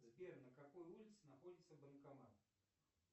сбер на какой улице находится банкомат